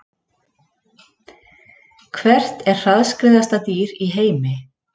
Hvert er hraðskreiðasta dýr í heimi?